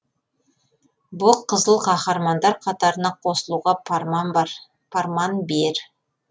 бұ қызыл қаһармандар қатарына қосылуға парман бер